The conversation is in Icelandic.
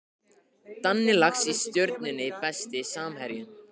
Danni Lax í Stjörnunni Besti samherjinn?